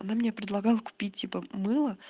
она мне предлагала купить типа мыло